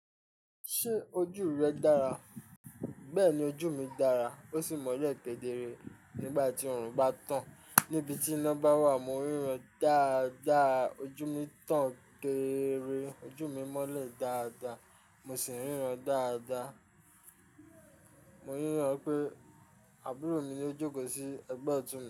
Ṣé ojú rẹ dára? Bẹ́ẹ̀ni, ojú mi dára ó sì mọ́lẹ̀ kẹ́dére nígbà tí oòrùn bá tán. Níbi tí iná bá wà mo ríran dáadáa, ojú mi tán gẹ́ẹ́rẹ́, ojú mi mọ́lẹ̀ dáadáa mo sì ń ríran dáadáa. Mo níràn pé àbúrò mi yóò jókòó sí ẹgbẹ́ ọ̀tún mi.